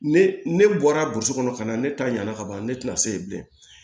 Ne ne bɔra burusi kɔnɔ ka na ne ta ɲana ka ban ne tɛna se yen bilen